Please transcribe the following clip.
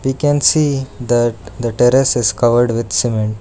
We can see that the terrace is covered with cement.